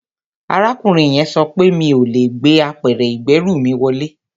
Arákùnrin yẹn sọ pé mi ò lè gbé apẹ̀rẹ̀ ìgbẹ́rù mi wọlé